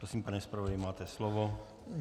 Prosím, pane zpravodaji, máte slovo.